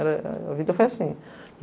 Ela é, a a vida foi assim.